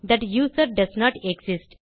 that user doesn't exist